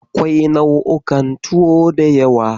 Akwai nau'ikan tuwo da yawa.